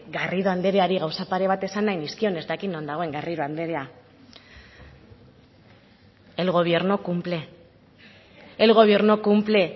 garrido andreari gauza pare bat esan nahi nizkion ez dakit non dagoen garrido andrea el gobierno cumple el gobierno cumple